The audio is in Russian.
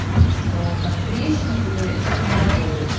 что там трещины или что-то не работает